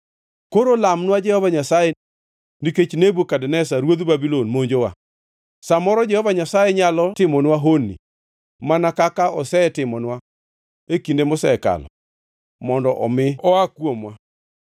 “Koro lamnwa Jehova Nyasaye nikech Nebukadneza ruodh Babulon monjowa. Sa moro Jehova Nyasaye nyalo timonwa honni mana kaka osetimonwa e kinde mosekalo mondo omi oa kuomwa.”